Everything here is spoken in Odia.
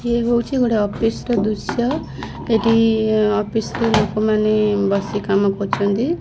ୟେ ହଉଛି ଗୋଟେ ଅଫିସ୍ ର ଦୃଶ୍ୟ ଏଠି ଅଫିସରେ ଲୋକମାନେ ବସି କାମ କରୁଛନ୍ତି।